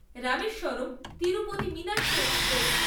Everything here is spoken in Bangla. রামেশ্বরম তিরুপতি মিনাক্ষী এক্সপ্রেস